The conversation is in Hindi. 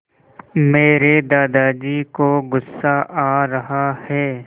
मेरे दादाजी को गुस्सा आ रहा है